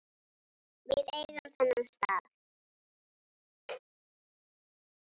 Við eigum þennan stað